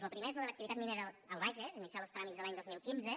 lo primer és lo de l’activitat minera al bages iniciats los tràmits l’any dos mil quinze